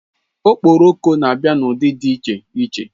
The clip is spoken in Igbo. Okporoko na-abịa n'ụdị dị iche iche